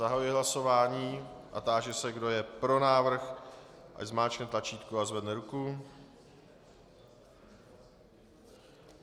Zahajuji hlasování a táži se, kdo je pro návrh, ať zmáčkne tlačítko a zvedne ruku.